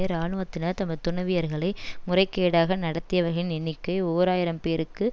இராணுவத்தினர் தமது துணவியர்களை முறைகேடாக நடத்தியவகின் எண்ணிக்கை ஓர் ஆயிரம் பேருக்கு